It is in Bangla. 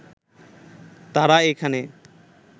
তারা এখানে